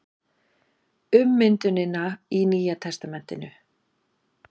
Ummyndunina í Nýja testamentinu.